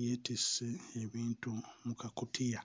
yeetisse ebintu mu kakutiya.